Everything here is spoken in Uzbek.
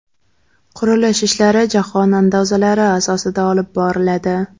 Qurilish ishlari jahon andazalari asosida olib boriladi.